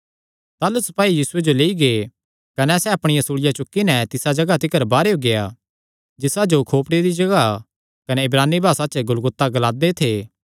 ताह़लू सपाई यीशुये जो लेई गै कने सैह़ अपणिया सूल़िया चुक्की नैं तिसा जगाह तिकर बाहरेयो गेआ जिसा जो खोपड़ी दी जगाह कने इब्रानी भासा च गुलगुता ग्लांदे थे